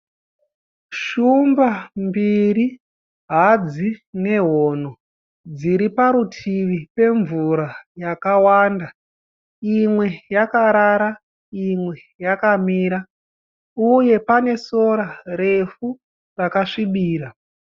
Shumba mbiri hadzi nehono zviri parutivi pemvura yakawanda imwe yakarara imwe yakamira uye pane sora refu rakasvibira.